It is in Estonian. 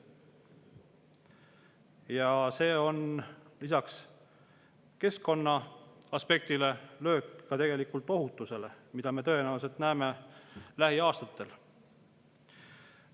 Ja see on lisaks keskkonnale tegelikult löök ka ohutusele, mida me tõenäoliselt näeme lähiaastatel.